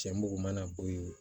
Cɛ mugu ma bo ye